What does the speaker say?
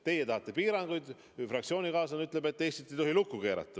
Tegelikult teil ongi vist ebakõla fraktsioonis sees, teie tahate piiranguid.